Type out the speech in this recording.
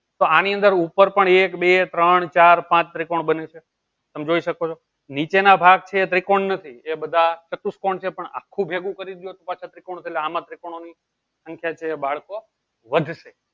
તો આની અંદર ઉપર પણ એક બે ત્રણ ચાર પાંચ ત્રિકોણ બને છે તમ જોઈ શકો છો નીચે ના ભાગ છે એ ત્રિકોણ નથી એ બધા શાતુકોન છે પણ આખું ભેગું કરી દિયો પાછા ત્રિકોણ આમાં ત્રિકોણ ની સંખ્યા છે એ બાળકો વધશે